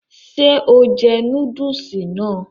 Ṣé o jẹ núdùsì mi ni?